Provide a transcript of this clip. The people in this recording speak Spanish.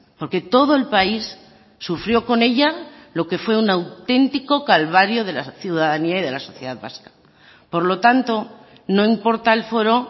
porque todo el país sufrió con ella lo que fue un auténtico calvario de la ciudadanía y de la sociedad vasca por lo tanto no importa el foro